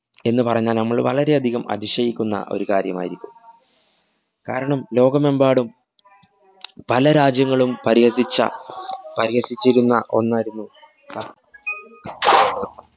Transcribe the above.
എന്ന് പറഞ്ഞാല്‍ നമ്മള്‍ വളരെയധികം അതിശയിക്കുന്ന ഒരു കാര്യമായിരിക്കും. കാരണം ലോകമെമ്പാടും പല രാജ്യങ്ങളും പരിഹസിച്ച പരിഹസിച്ചിരുന്ന ഒന്നായിരുന്നു